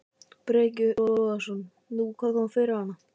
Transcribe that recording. Breki Logason: Nú, hvað kom fyrir hana?